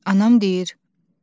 Anam deyir: